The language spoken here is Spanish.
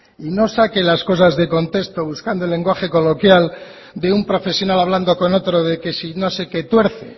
y no saque las cosas de contexto buscando lenguaje coloquial de un profesional hablando con otro de que si no se qué tuerce